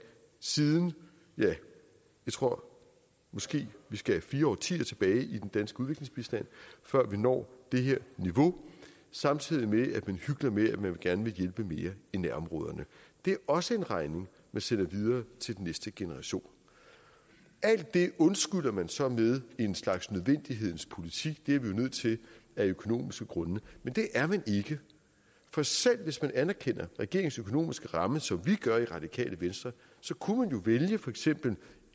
siden ja jeg tror måske vi skal fire årtier tilbage i den danske udviklingsbistand før vi når det her niveau samtidig med at man hykler med at man gerne vil hjælpe mere i nærområderne det er også en regning man sender videre til den næste generation alt det undskylder man så med en slags nødvendighedens politik det er vi nødt til af økonomiske grunde men det er man ikke for selv hvis vi anerkender regeringens økonomiske ramme som vi gør i radikale venstre så kunne man jo vælge for eksempel